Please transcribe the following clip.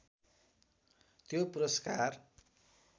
त्यो पुरस्कार